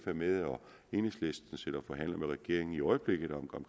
er med og enhedslisten sidder og forhandler med regeringen i øjeblikket om